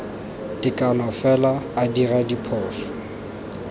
tekano fela a dira diphoso